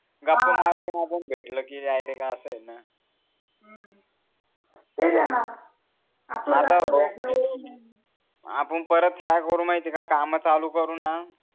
गप्पा मारत म्हणून भेटल कि याईले अस आहे न ना हम्म ते आपण परत काय करू माहिती का काम चालू करू न